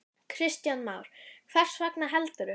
Kristján Már: Hvers vegna, heldurðu?